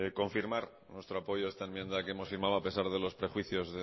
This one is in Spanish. confirmar nuestro apoyo a esta enmienda que hemos firmado a pesar de los prejuicios